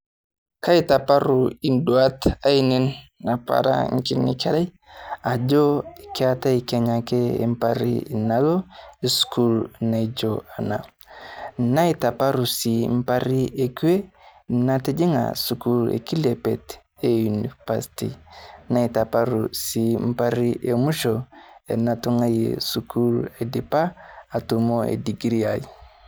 Keitapaaru eduat aineen apa ara nkinyii nkerrai ajo keetai kenyaake mpaari naolo sukuul naijoo ena. Naitaparuu siii mbaari ekwee natijing'aa sukuul e kilebeet e univasti. Naitapaaru sii mbaari emuisho natung'anye sukuul aidipaa atumoo edikirii ai.